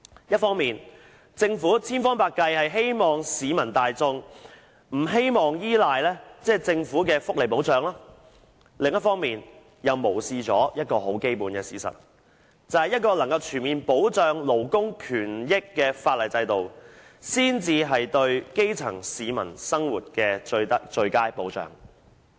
一方面，政府千方百計希望市民大眾不用依賴政府的福利保障；另一方面，卻無視一個基本的事實，就是一個能夠全面保障勞工權益的法例制度，才是對基層市民生活的最佳保障。